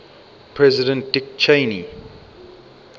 president dick cheney